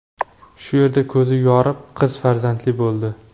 shu yerda ko‘zi yorib, qiz farzandli bo‘ldi.